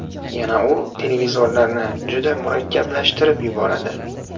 Yana u televizorlarni juda murakkablashtirib yuboradi.